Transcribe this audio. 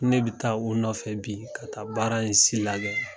Ne bi taa u nɔfɛ bi ka taa baara in si lagɛ.